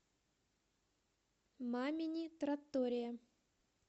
мамини траттория